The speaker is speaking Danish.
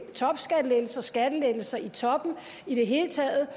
topskattelettelser skattelettelser i toppen i det hele taget